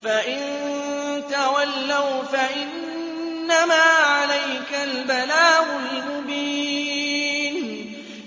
فَإِن تَوَلَّوْا فَإِنَّمَا عَلَيْكَ الْبَلَاغُ الْمُبِينُ